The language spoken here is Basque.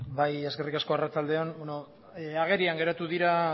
eskerrik asko arratsalde on agerian geratu dira